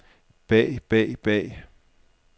bag bag bag